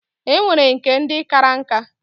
E nwere nke ndi kara nka.